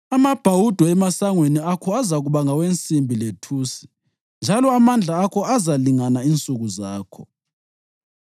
Amabhawudo emasangweni akho azakuba ngawensimbi lethusi njalo amandla akho azalingana insuku zakho.